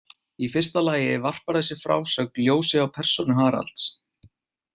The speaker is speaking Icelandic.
Í fyrsta lagi varpar þessi frásögn ljósi á persónu Haralds.